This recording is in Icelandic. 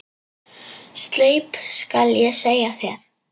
Sleip skal ég segja þér.